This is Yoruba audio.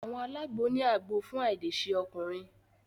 Àwọn alagbo ni àgbò fún ailese ọkùnrin.